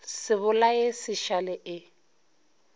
se bolae se šale e